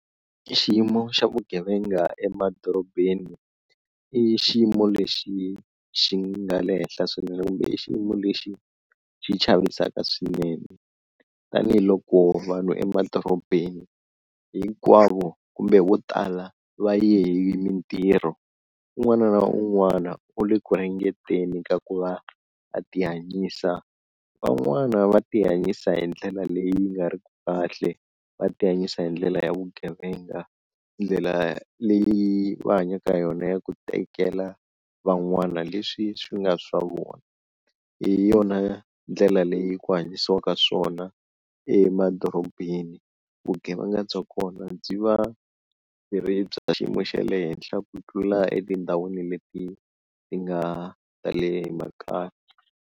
I xiyimo xa vugevenga emadorobeni i xiyimo lexi xi nga le henhla swinene kumbe i xiyimo lexi xi chavisaka swinene tanihiloko vanhu emadorobeni hinkwavo kumbe vo tala va ye hi mintirho, un'wana na un'wana u le ku ringeteni ka ku va a ti hanyisa, van'wana va ti hanyisa hi ndlela leyi nga ri ku kahle va ti hanyisa hi ndlela ya vugevenga, ndlela leyi va hanyaka hi yona ya ku tekela van'wana leswi swi nga swa vona, hi yona ndlela leyi ku hanyisiwaka swona emadorobeni vugevenga bya kona byi va byi ri bya xiyimo xa le henhla ku tlula etindhawini leti ti nga ta le makaya.